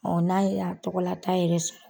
n'a y'a tɔgɔlata yɛrɛ sɔrɔ